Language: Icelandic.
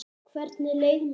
Hvernig leið mér?